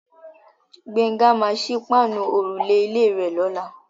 Gbénga máa sí páànù òrùlé ilé rè lọ́la.